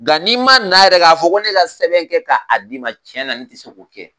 Nka n'i ma n'a yɛrɛ k'a fɔ ko ne ka sɛbɛn kɛ k'a d'i ma tiɲɛ na ne tɛ se k'o kɛ